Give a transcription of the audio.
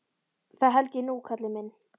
Það held ég nú, kallinn minn.